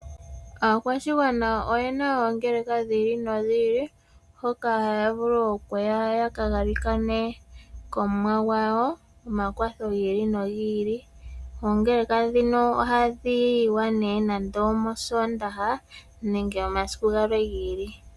Aakwashigwana oyena oongekeka dhi ili nodhi ili hoka haya vulu okuya yakagalikane kOmuwa gwawo omakwatho gi ili nogi ili. Oongeleka ndhino ohadhi yiwa nee nenge omOsoondaha nenge omasiku gamwe gi ili.